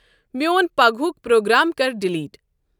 میوٗن پگہُک پروگام کر ڈیلیٹ۔